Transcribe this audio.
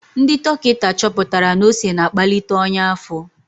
Ndị dọkịta chọpụtara na ose na-akpalite ọnya afo.